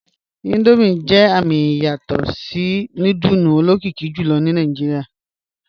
Indomie jẹ amì iyasọtọ̀tọ́ tí núdùlù olokìkì jùlọ̀ ní Nàìjíríà